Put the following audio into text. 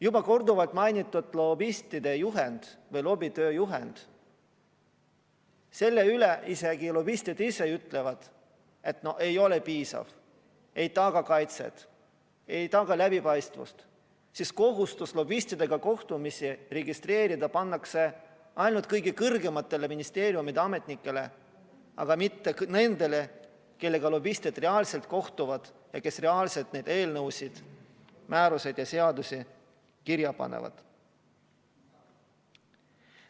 Juba korduvalt mainitud lobistide juhend või lobitööjuhend – selle kohta isegi lobistid ise ütlevad, et see ei ole piisav, see ei taga kaitset, ei taga läbipaistvust, sest kohustus lobistidega kohtumisi registreerida pannakse ainult kõige kõrgematele ministeeriumiametnikele, aga mitte nendele, kellega lobistid reaalselt kohtuvad ja kes reaalselt neid eelnõusid, määrusi ja seadusi kirja panevad.